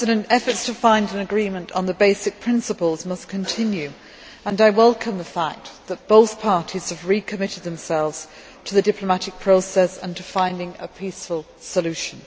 Efforts to find an agreement on the basic principles must continue, and I welcome the fact that both parties have re committed themselves to the diplomatic process and to finding a peaceful solution.